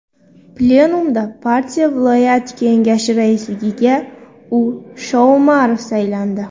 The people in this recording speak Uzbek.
Plenumda partiya viloyat kengashi raisligiga U. Shoumarov saylandi.